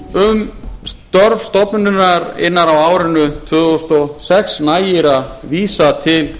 um störf stofnunarinnar á árinu tvö þúsund og sex nægir að vísa til